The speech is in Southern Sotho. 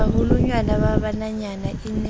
baholwanyane ba bananyana e ne